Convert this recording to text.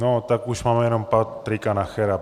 No tak už máme jenom Patrika Nachera.